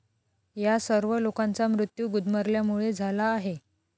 या सर्व लोकांचा मृत्यू गुदमरल्यामुळे झाला आहे.